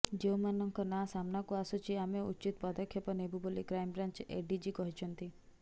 ଯେଉଁମାନଙ୍କ ନାଁ ସାମ୍ନାକୁ ଆସୁଛି ଆମେ ଉଚିତ ପଦକ୍ଷେପ ନେବୁ ବୋଲି କ୍ରାଇମବ୍ରାଞ୍ଚ ଏଡିଜି କହିଛନ୍ତି